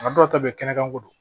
A dɔw ta bɛ kɛnɛ kan ko don